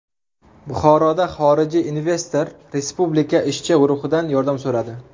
Buxoroda xorijiy investor Respublika ishchi guruhidan yordam so‘radi.